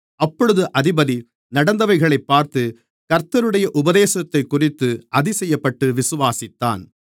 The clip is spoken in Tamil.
அப்பொழுது அதிபதி நடந்தவைகளைப் பார்த்து கர்த்தருடைய உபதேசத்தைக்குறித்து அதிசயப்பட்டு விசுவாசித்தான்